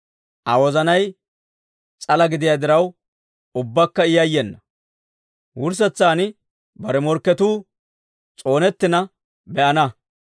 Aa wozanay s'ala gidiyaa diraw, ubbakka I yayyena; wurssetsan bare morkketuu s'oonettina be'ana.